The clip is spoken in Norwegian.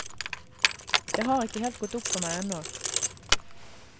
Det har ikke helt gått opp for med ennå.